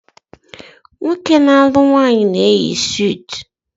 Nwoke na-alu nwaanyi na-eyi sutu